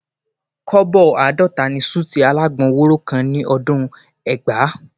Kọ́bọ̀ àádọ́ta ni súùtì alágbọn wóró kan ní ọdún ẹgbàá